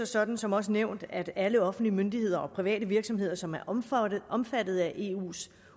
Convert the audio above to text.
sådan som også nævnt at alle offentlige myndigheder og private virksomheder som er omfattet omfattet af eus